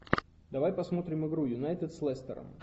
давай посмотрим игру юнайтед с лестером